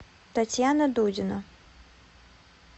татьяна дудина